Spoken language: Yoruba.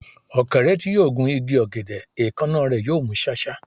Ọ̀kẹ́rẹ́ tí yóò gun igi ọ̀gẹ̀dẹ̀, èékánná rẹ̀ yóò mú ṣáṣá.